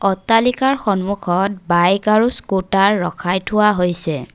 অট্টালিকাৰ সন্মুখত বাইক আৰু স্কুটাৰ ৰখাই থোৱা হৈছে।